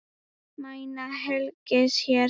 Mæna hengils hér.